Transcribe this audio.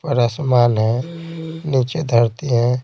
और आसमान है नीचे धरती है।